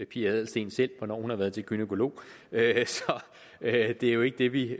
pia adelsteen selv hvornår hun har været til gynækolog det er jo ikke det vi